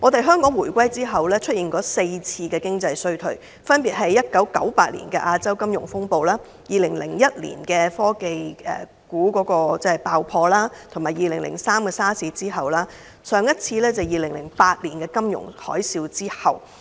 香港回歸後，曾經經歷4次經濟衰退，分別是1998年亞洲金融風暴、2001年科網股爆破、2003年 SARS 時期，以及2008年金融海嘯。